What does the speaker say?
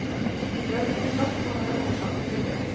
Lønn og skatt kan være årsaker til det.